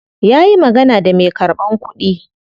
Ya yi magana da me karban kudi.